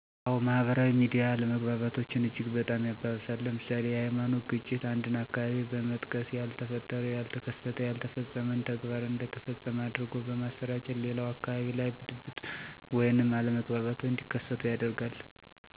አዎ ማህበራዊ ሚዲያ አለመግባባቶችን እጅግ በጣም ያባብሳል። ለምሳሌ፦ የሀይማኖት ግጭት አንድን አካባቢ በመጥቀስ ያልተፈጠረ፣ ያተከሰተ፣ ያልተፈፀመን ተግባር እንደ ተፈፀመ አድርጎ በማሰራጨት ሌላው አካባቢ ላይ ብጥብጦች ወይንም አለመግባባቶች እንዲከሰቱ ያደርጋል።